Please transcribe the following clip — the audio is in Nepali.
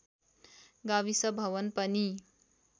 गाविस भवन पनि